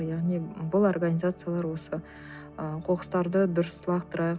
яғни бұл организациялар осы ы қоқыстарды дұрыс лақтырайық